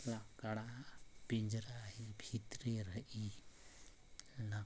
लाकड़ा पिंजरा हे भीतरे रही --